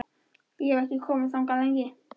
Ég hef ekki komið þangað lengi.